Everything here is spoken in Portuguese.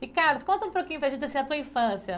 Ricardo, conta um pouquinho para a gente, assim, a tua infância.